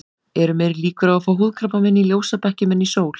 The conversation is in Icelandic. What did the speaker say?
Eru meiri líkur á að fá húðkrabbamein í ljósabekkjum en í sól?